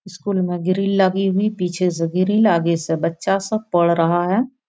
School में grill लगी हुई पीछे से ग्रील आगे से बच्चा सब पढ़ रहा है।